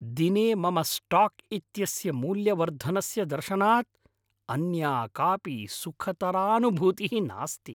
दिने मम स्टाक् इत्यस्य मूल्यवर्धनस्य दर्शनात् अन्या कापि सुखतरानुभूतिः नास्ति।